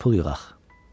Gərək pul yığaq.